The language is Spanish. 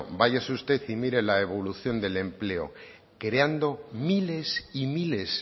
váyase usted y mire la evolución del empleo creando miles y miles